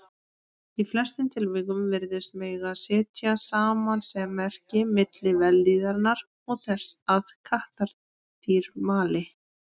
Í flestum tilvikum virðist mega setja samasemmerki milli vellíðunar og þess að kattardýr mali.